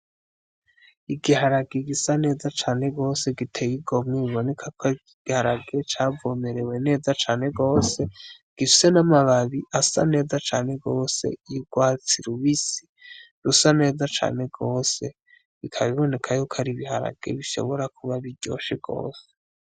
Igiharage gisa neza cane gose giteye igomwe biboneka ko ar'igiharage cavomerewe neza cane gose gifise n'amababi asa neza cane gose y'urwatsi rubisi rusa neza cane gose bikaba biboneka yuko ar'ibiharagi bishobora kuba biryoshe gose.